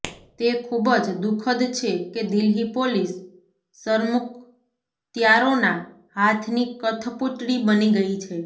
તે ખૂબ જ દુખદ છે કે દિલ્હી પોલીસ સરમુખત્યારોના હાથની કઠપૂતળી બની ગઈ છે